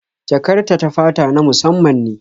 Jakar ta ta fata na musamman ne